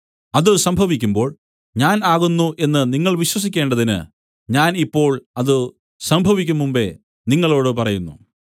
അത് സംഭവിക്കുമ്പോൾ ഞാൻ ആകുന്നു എന്നു നിങ്ങൾ വിശ്വസിക്കേണ്ടതിന് ഞാൻ ഇപ്പോൾ അത് സംഭവിക്കുംമുമ്പെ നിങ്ങളോടു പറയുന്നു